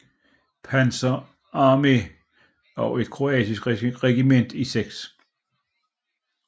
Panzer Arme og et kroatisk regiment i 6